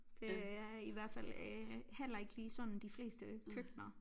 Det er i hvert fald øh heller ikke lige sådan de fleste køkkener